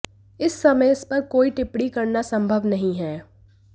इस समय इस पर कोई टिप्पणी करना संभव नहीं है